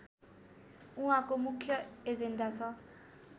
उहाँको मुख्य एजेन्डा छ